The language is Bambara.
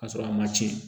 K'a sɔrɔ a ma tiɲɛ